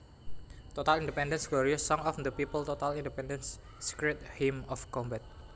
Total independence Glorious song of the people Total independence Sacred hymn of combat